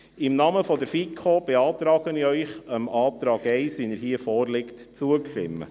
Im Namen der FiKo beantrage ich Ihnen, dem Antrag 1, wie er hier vorliegt, zuzustimmen.